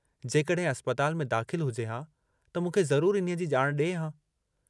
जेकॾहिं अस्पताल में दाख़िल हुजे हा त मूंखे ज़रूर इन्हीअ जी ॼाणु ॾिए हा।